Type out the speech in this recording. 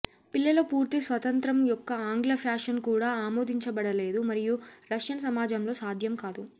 పిల్లల పూర్తి స్వతంత్రం యొక్క ఆంగ్ల ఫ్యాషన్ కూడా ఆమోదించబడలేదు మరియు రష్యన్ సమాజంలో సాధ్యం కాదు